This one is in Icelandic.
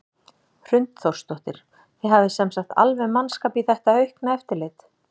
Hrund Þórsdóttir: Þið hafið sem sagt alveg mannskap í þetta aukna eftirlit?